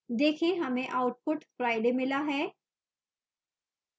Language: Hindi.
देखें हमें output friday मिला है